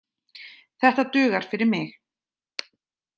Þetta dugar fyrir mig